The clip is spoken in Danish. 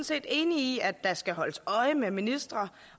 set enige i at der skal holdes øje med ministre